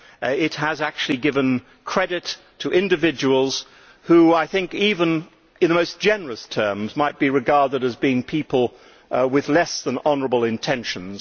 They have actually given credit to individuals who, even in the most generous terms, might be regarded as people with less than honourable intentions.